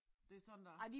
Det sådan der